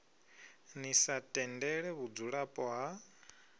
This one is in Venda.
ḽi sa tendele vhudzulapo ha